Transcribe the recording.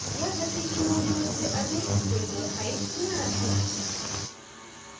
याद रखें कि मूल image से अधिक width और height न रखें